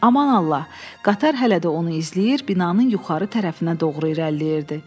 Aman Allah, qatar hələ də onu izləyir, binanın yuxarı tərəfinə doğru irəliləyirdi.